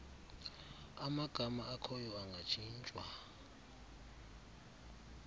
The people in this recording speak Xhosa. amagama akhoyo angatshintshwa